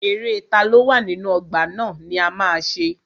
Eré taló wà nínú ọgbà ná ni a ma ṣe.